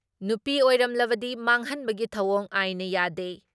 ꯅꯨꯄꯤ ꯑꯣꯏꯔꯝꯂꯕꯗꯤ ꯃꯥꯡꯍꯟꯕꯒꯤ ꯊꯧꯑꯣꯡ ꯑꯥꯏꯟꯅ ꯌꯥꯗꯦ ꯫